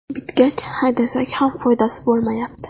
Bitgach haydasak ham foydasi bo‘lmayapti.